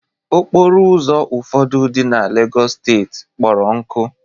okporo ụzọ ụfọdụ dị na lagos steeti kpọrọ nkụ